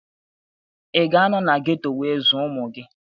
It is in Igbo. Ị ga-anọ na geto wee zụọ ụmụ gị?